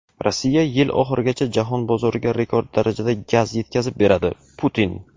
Rossiya yil oxirigacha jahon bozoriga rekord darajada gaz yetkazib beradi – Putin.